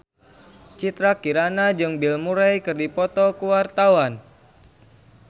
Citra Kirana jeung Bill Murray keur dipoto ku wartawan